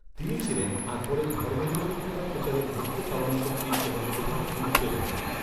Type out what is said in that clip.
তিনি ছিলেন, আকবরের ধর্মনিরপেক্ষতা প্রচারের মুখ্য চালনাশক্তি এবং প্রধান অনুপ্রেরণা।